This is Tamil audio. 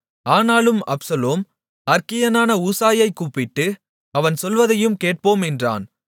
ஆனாலும் அப்சலோம் அற்கியனான ஊசாயைக் கூப்பிட்டு அவன் சொல்வதையும் கேட்போம் என்றான்